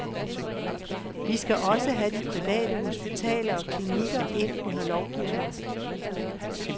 Vi skal også have de private hospitaler og klinikker ind under lovgivningen.